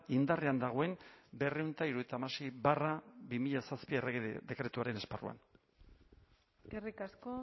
indarrean dagoen berrehun eta hirurogeita hamasei barra bi mila zazpi errege dekretuaren esparruan eskerrik asko